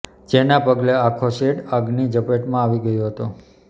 જેના પગલે આખો સેડ આગની ઝપેટમાં આવી ગયો હતો